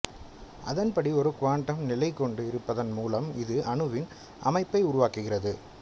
அதன்படி ஒரு குவாண்டம் நிலை கொண்டு இருப்பதன் மூலம் இது அணுவின் அமைப்பை உருவாக்குகிறது